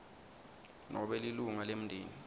nobe lilunga lemndeni